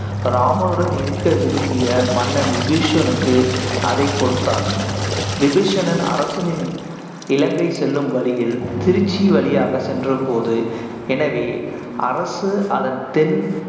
ராமனுடன் இருக்க விரும்பிய மன்னன் விபீஷணனுக்கு அதைக் கொடுத்தார் விபீஷணன் அரசனின் இலங்கை செல்லும் வழியில் திருச்சி வழியாகச் சென்றபோது எனவே, அரசு அதன் தென்